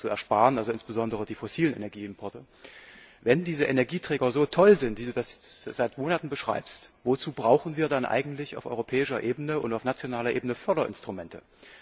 ersparen insbesondere die fossilen Energieimporte wenn diese Energieträger so toll sind, wie du das seit Monaten beschreibst, wozu brauchen wir dann eigentlich auf europäischer Ebene und auf nationaler Ebene Förderinstrumente?